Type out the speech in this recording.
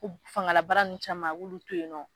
Ko fangala bara ninnu caman a k'olu to yen nɔ